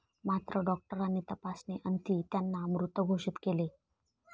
मात्र डॉक्टरांनी तपासणी अंती त्यांना मृत घोषित केले.